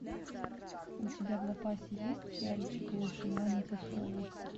у тебя в запасе есть сериальчик лучше звоните солу